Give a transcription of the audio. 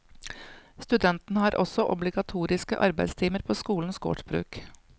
Studentene har også obligatoriske arbeidstimer på skolens gårdsbruk.